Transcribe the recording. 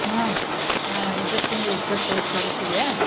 ಹ್ಮ್ ಅ~ ಇದ ತಿಂಗ್ಳ ಇಪ್ಪತೈದ್ ತಾರೀಕಿಗ.